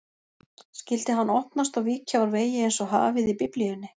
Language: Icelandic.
Skyldi hann opnast og víkja úr vegi einsog hafið í Biblíunni?